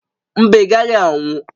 Mba, ị gaghị anwụ